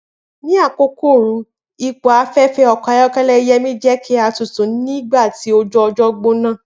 Ni akoko ooru, ipo afẹfẹ ọkọ ayọkẹlẹ Yemi jẹ ki a tutu ni awọn ọjọ oju ojo gbona.